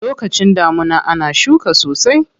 Lokacin damuna ana shuka sosai.